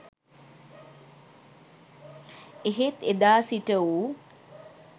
එහෙත් එදා සිට ඌ